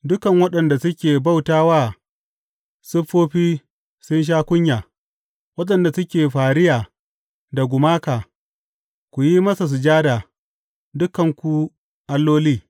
Dukan waɗanda suke bauta wa siffofi sun sha kunya, waɗanda suke fariya da gumaka, ku yi masa sujada, dukanku alloli!